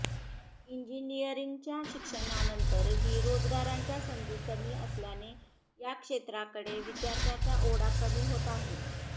इंजिनियरिंगच्या शिक्षणानंतरही रोजगाराच्या संधी कमी असल्याने या क्षेत्राकडे विद्यार्थ्यांचा ओढा कमी होत आहे